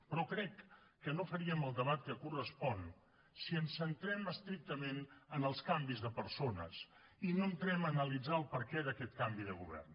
però crec que no faríem el debat que correspon si ens centrem estrictament en els canvis de persones i no entrem a analitzar el perquè d’aquest canvi de govern